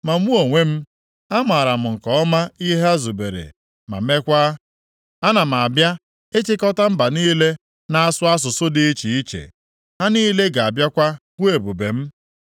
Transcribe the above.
“Ma mụ onwe m, amaara m nke ọma ihe ha zubere ma meekwa, ana m abịa ịchịkọta mba niile na-asụ asụsụ dị iche iche. Ha niile ga-abịakwa hụ ebube m.